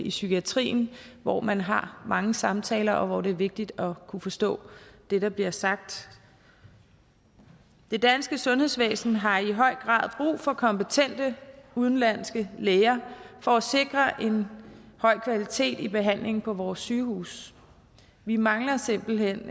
i psykiatrien hvor man har mange samtaler og hvor det er vigtigt at kunne forstå det der bliver sagt det danske sundhedsvæsen har i høj grad brug for kompetente udenlandske læger for at sikre en høj kvalitet i behandlingen på vores sygehuse vi mangler simpelt hen